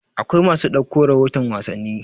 akwai masu ɗauko rahoton wasanni